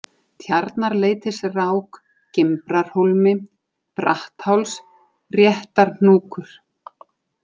Tjarnarleitisrák, Gimbrarhólmi, Brattháls, Réttarhnúkur